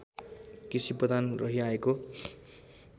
कृषिप्रधान रहिआएको